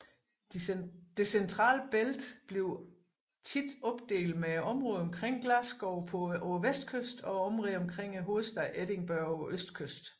Det centrale bælte bliver ofte opdelt med områderne omkring Glasgow på vestkysten og områderne omkring hovedstaden Edinburgh på østkysten